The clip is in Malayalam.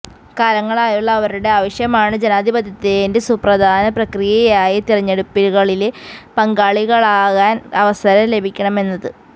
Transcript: കാലങ്ങളായുള്ള അവരുടെ ആവശ്യമാണ് ജനാധിപത്യത്തിന്റെ സുപ്രധാന പ്രക്രിയയായ തിരഞ്ഞെടുപ്പുകളില് പങ്കാളികളാകാന് അവസരം ലഭിക്കണമെന്നത്